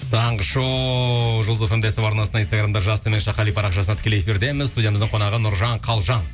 таңғы шоу жұлдыз фм де ств арнасында инстаграмда парақшасында тікелей эфирдеміз студиямыздың қонағы нұржан қалжан